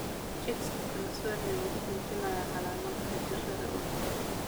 Chicks kala sooci oo muujinaya calaamadaha jirrada oo daaw.